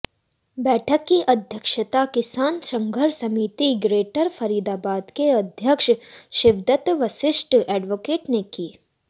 बैठक की अध्यक्षता किसान संघर्ष समिति ग्रेटर फरीदाबाद के अध्यक्ष शिवदत्त वशिष्ठ एडवोकेट ने की